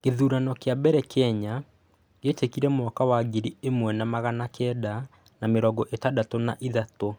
Gũthurano kĩa mbere Kenya gĩekĩkire mwaka wa ngiri ĩmwe na magana kenda na mĩrongo ĩtandatũ na ĩtatũ.